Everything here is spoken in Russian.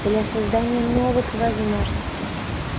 для создания новых возможностей